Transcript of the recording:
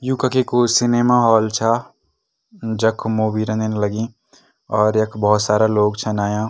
यु कखी कु cinema hall छा जख मूवी रेंदिन लगीं और यख भोत सारा लोग छन अयां।